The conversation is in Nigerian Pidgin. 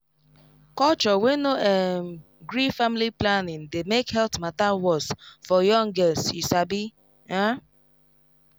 culture wey no um gree family planning dey make health matter worse for young girls you sabi um